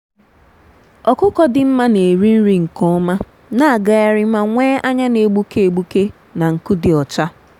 ọkụkọ dị mma na-eri nri nke ọma na-agagharị ma nwee anya na-egbuke egbuke na nku dị ọcha.